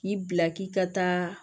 K'i bila k'i ka taa